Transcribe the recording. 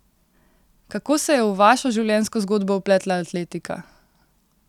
Kako se je v vašo življenjsko zgodbo vpletla atletika?